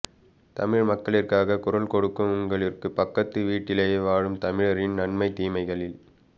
தமிழ் மக்களிற்காக குரல் கொடுக்கும் உங்களிற்கு பக்கத்து வீட்டிலை வாழும் தமிழரின் ந்ன்மை தீமைகளில்